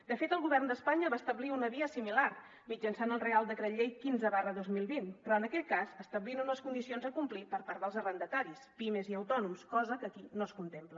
de fet el govern d’espanya va establir una via similar mitjançant el reial decret llei quinze dos mil vint però en aquell cas establint unes condicions a complir per part dels arrendataris pimes i autònoms cosa que aquí no es contempla